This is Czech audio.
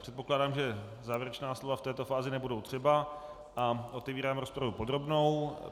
Předpokládám, že závěrečná slova v této fázi nebudou třeba, a otevírám rozpravu podrobnou.